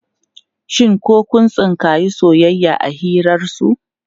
Shin ko kun tsinkayi soyayya a hirarsu?